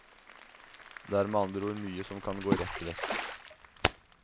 Det er med andre ord mye som kan gå rett vest.